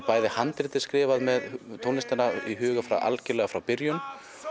handritið skrifað með tónlistina í huga algjörlega frá byrjun